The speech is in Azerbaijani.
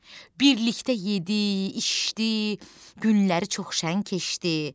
Birlikdə yedi, içdi, günləri çox şən keçdi.